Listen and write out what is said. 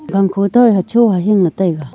gang kho toh hocho hohing ley taiga.